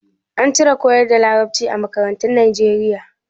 An cire koyar da Larabci a makarantun Nijeriya.